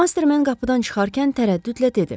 Mastermen qapıdan çıxarkən tərəddüdlə dedi.